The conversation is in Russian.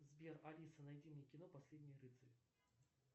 сбер алиса найди мне кино последний рыцарь